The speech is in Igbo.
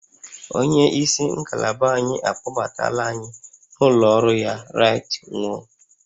Onye isi ngalaba anyị akpọbatala anyị n'ụlọ ọrụ ya right nwo